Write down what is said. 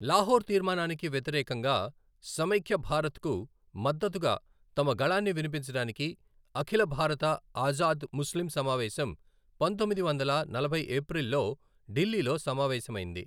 లాహోర్ తీర్మానానికి వ్యతిరేకంగా, సమైఖ్య భారత్కు మద్దతుగా తమ గళాన్ని వినిపించడానికి అఖిల భారత ఆజాద్ ముస్లిం సమావేశం పంతొమ్మిది వందల నలభై ఏప్రిల్లో ఢిల్లీలో సమావేశమైంది.